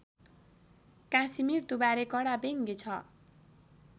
काशीमृत्युबारे कडा व्यङ्ग्य छ